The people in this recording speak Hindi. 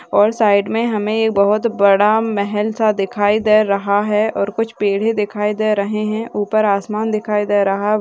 और साइड मे हमे बहोत बड़ा महल सा दिखाई दे रहा है| कुछ पेढे दिखाई दे रहे है। ऊपर आसमान दिखाई दे रहा।